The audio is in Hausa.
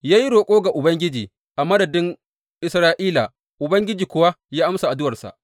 Ya yi roƙo ga Ubangiji a madadin Isra’ila, Ubangiji kuwa ya amsa addu’arsa.